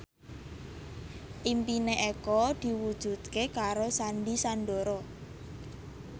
impine Eko diwujudke karo Sandy Sandoro